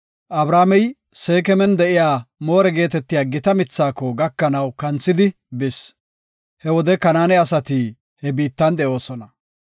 Abramey Seekeman de7iya More geetetiya gita mithaako gakanaw kanthidi bis. He wode Kanaane asati he biittan de7oosona.